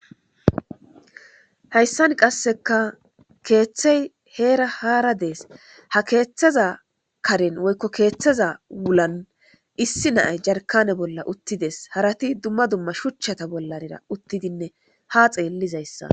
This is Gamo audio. hayssan qasseka keeththey heera haara dees ha keeththeza karen woykko keeththeza wulan issi naay jarkane bolla uttides harati dumma dumma shuchchata bollanira uttidinne ha xeellizayssa